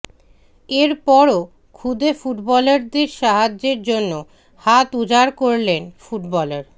এরপরও খুদে ফুটবলারদের সাহায্যের জন্য হাত উজাড় করলেন ফুটবলার